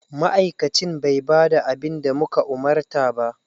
Ma'aikacin bai ba da abin da muka umarta ba.